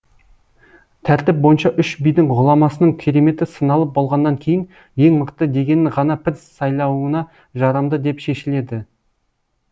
тәртіп бойынша үш бидің ғұламасының кереметі сыналып болғаннан кейін ең мықты дегенін ғана пір сайлауына жарамды деп шешіледі